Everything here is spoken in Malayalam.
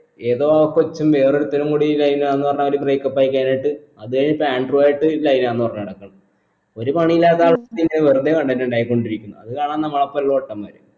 ഏതോ കൊച്ചും വേറൊരുത്തനും കൂടി line ആന്ന് പറഞ്ഞ് അവർ break up ആയി കഴിഞ്ഞിട്ട് അത് ഇപ്പൊ ആൻഡ്രൂ ആയിട്ട് line ആന്ന് പറഞ്ഞ് നടക്കുന്ന് ഒരു പണി ഇല്ലാത്ത ആൾ ഇങ്ങനെ വെറുതെ content ഇണ്ടാക്കി കൊണ്ടിരിക്കുന്നു അത് കാണുന്ന നമ്മൾ അസ്സൽ പൊട്ടന്മാർ